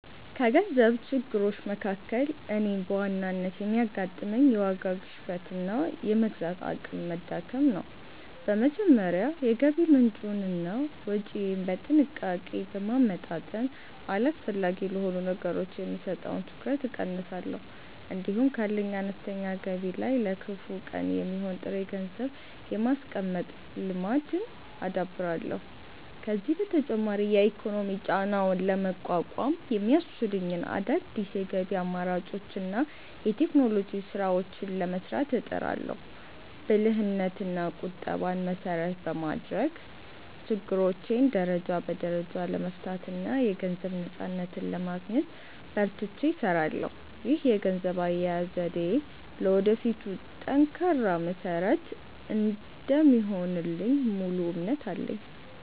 ከገንዘብ ችግሮች መካከል እኔን በዋናነት የሚያጋጥመኝ፣ የዋጋ ግሽበትና የመግዛት አቅም መዳከም ነው። በመጀመሪያ የገቢ ምንጬንና ወጪዬን በጥንቃቄ በማመጣጠን፣ አላስፈላጊ ለሆኑ ነገሮች የምሰጠውን ትኩረት እቀንሳለሁ። እንዲሁም ካለኝ አነስተኛ ገቢ ላይ ለከፋ ቀን የሚሆን ጥሬ ገንዘብ የማስቀመጥ ልማድን አዳብራለሁ። ከዚህም በተጨማሪ የኢኮኖሚ ጫናውን ለመቋቋም የሚያስችሉኝን አዳዲስ የገቢ አማራጮችንና የቴክኖሎጂ ስራዎችን ለመስራት እጥራለሁ። ብልህነትና ቁጠባን መሰረት በማድረግ፣ ችግሮቼን ደረጃ በደረጃ ለመፍታትና የገንዘብ ነፃነትን ለማግኘት በርትቼ እሰራለሁ። ይህ የገንዘብ አያያዝ ዘዴዬ ለወደፊቱ ጠንካራ መሰረት እንደሚሆንልኝ ሙሉ እምነት አለኝ።